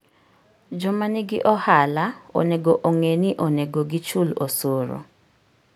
Joma nigi ohala onego ong'e ni onego gichul osuru.